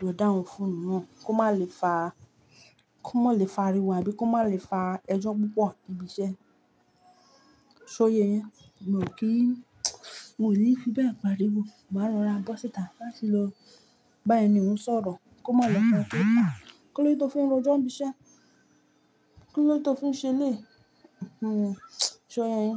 lọ dáhùn fonu na kó má lè fa kó má lè fa ariwo tabí kó má lè fa ẹjọ́ púpọ̀ ibi iṣẹ́. Ṣóye yín, miò kí fí bẹ́ẹ̀ pariwo, màá rora bọ́sítà láti lọ bá ẹni òun sọ̀rọ̀ kó má lọ fọn sóríta. Kí ló dé tó fin rojo ni ibi iṣẹ́? Kí ló dé tó fin ṣe elé yi? Ṣó ra e.